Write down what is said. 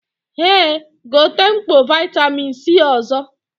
Eh, gote mkpọ vitamin C ọzọ